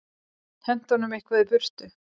Henti honum eitthvað í burtu.